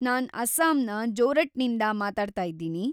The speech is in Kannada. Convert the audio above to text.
ನಾನ್‌ ಅಸ್ಸಾಂನ ಜೋರಟ್ನಿಂದ ಮಾತಾಡ್ತಾಯಿದ್ದೀನಿ.